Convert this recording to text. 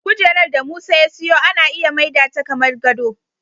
Kujerar da Musa ya siyo ana iya maida ta kamar gado.